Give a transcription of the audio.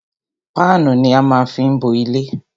Páánù ni á má fí ń bo ilé.